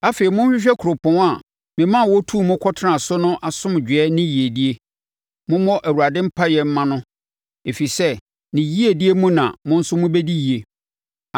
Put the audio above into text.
Afei, monhwehwɛ kuropɔn a mema wɔtuu mo kɔtenaa so no asomdwoeɛ ne yiedie. Mommɔ Awurade mpaeɛ mma no, ɛfiri sɛ ne yiedie mu na mo nso mobɛdi yie.”